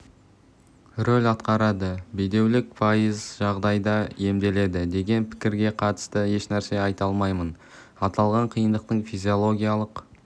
рөл атқарады бедеулік пайыз жағдайда емделеді деген пікірге қатысты ешнәрсе айта алмаймын аталған қиындықтың физиологиялық